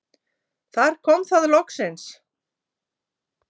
Þar kom það loksins.